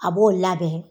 A b'o labɛn